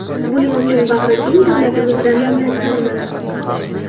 Buning uchun bag‘rikeng davlatimizdan minnatdorman”.